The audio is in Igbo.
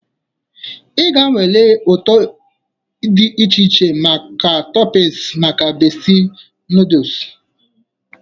Ị ga-anwale ụtọ dị iche iche na toppings maka Bestie noodles.